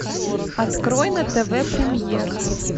открой на тв премьер